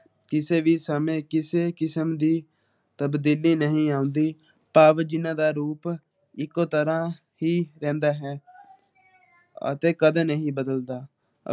ਜਿਨ੍ਹਾਂ ਦਾ ਰੂਪ ਇਕੋ ਤਰਾਂ ਹੀ ਰਹਿੰਦਾ ਹੈ ਅਤੇ ਕਦ ਨਹੀਂ ਬਦਲਦਾ